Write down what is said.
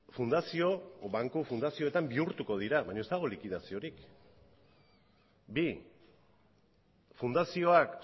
banku fundazioetan bihurtuko dira baina ez dago likidaziorik bi fundazioak